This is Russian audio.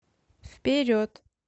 вперед